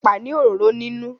Ẹ̀pà ni òróró nínú.